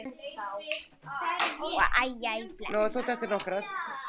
Jæja bless